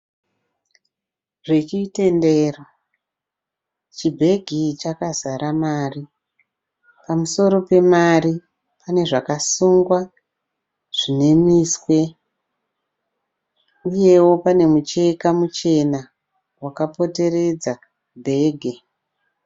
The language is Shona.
Zvechitendero. Chibhegi chakazara mari. Pamusoro pemari pane zvakasungwa zvine miswe. Uyewo pane mucheka muchena wakapoteredza bhegi.